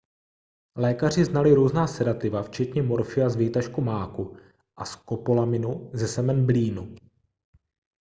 lékaři znali různá sedativa včetně morfia z výtažků máku a skopolaminu ze semen blínu